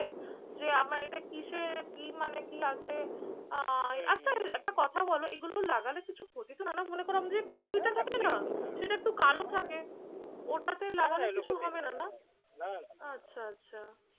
যে আমার এটা কিসে কি মানে কি আছে আহ আচ্ছা একটা কথা বলো, এগুলো লাগালে কিছু ক্ষতি তো হয় না? মনে করলাম যে কুনুইটা থাকে না? সেটা একটু কালো থাকে ওটাতে লাগালে কিছু হবে না না? আচ্ছা আচ্ছা।